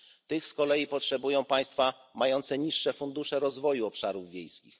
Tych z kolei potrzebują państwa mające niższe fundusze rozwoju obszarów wiejskich.